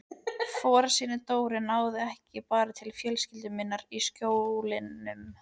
Fórnfýsi Dóru náði ekki bara til fjölskyldu minnar í Skjólunum.